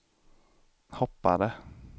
hoppade